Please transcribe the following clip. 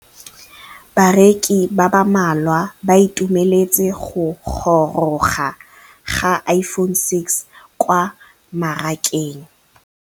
Bareki ba ba malwa ba ituemeletse go gôrôga ga Iphone6 kwa mmarakeng.